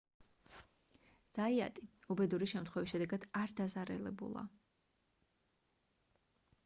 ზაიატი უბედური შემთხვევის შედეგად არ დაზარალებულა